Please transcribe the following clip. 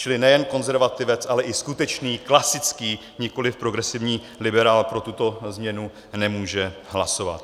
Čili nejen konzervativec, ale i skutečný klasický, nikoliv progresivní liberál pro tuto změnu nemůže hlasovat.